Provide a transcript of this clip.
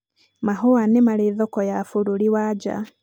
mahũa nĩ Marĩ thoko ya bũrũri wa nja.